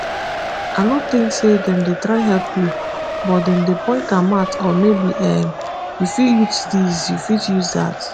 i no tink say dem dey try help you but dem dey point am out oh maybe um you fit use disyou fit use dat